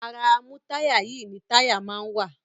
Ara amútáyà-yìí ni táyà máa ń wà.